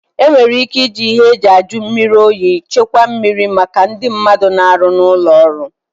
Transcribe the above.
E nwere ị́ké ịji ịhe eji ajụ mmiri oyi chekwaa mmiri maka ndị mmadụ na-arụ n'ụlọ ọrụ.